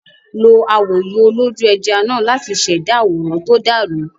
Lo awòye olójú-ẹja náà láti ṣẹ̀dá àwòrán tó dàrú.